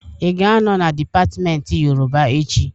I ga-anọ na dipatmenti Yoruba echị?